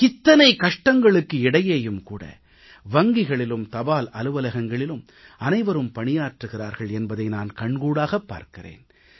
இத்தனை கஷ்டங்களுக்கு இடையேயும் கூட வங்கிகளிலும் தபால் அலுவலகங்களிலும் அனைவரும் பணியாற்றுகிறார்கள் என்பதை நான் கண்கூடாகப் பார்க்கிறேன்